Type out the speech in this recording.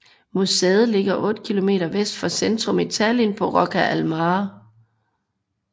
Museet ligger 8 km vest for centrum i Tallinn på Rocca al Mare